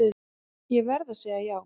Ég verð að segja já.